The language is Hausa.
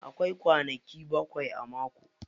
Akwai kwanaki bakwai a mako.